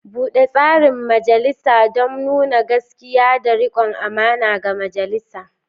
Bude tsarin majalisa don nuna gaskiya da rikon amana ga majalisa.